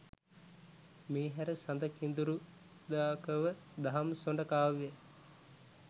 මේ හැර සඳකිඳුරුදාකව දහම්සොඬ කාව්‍යය